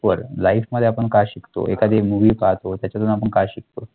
वर life मध्ये आपण काय शिकतो एखादी movie पाहतो त्याच्यातून आपण काय शिकतो,